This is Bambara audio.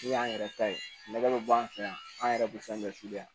N'u y'an yɛrɛ ta ye lagɛli bɛ an fɛ yan an yɛrɛ bɛ fɛn bɛɛ f'i ye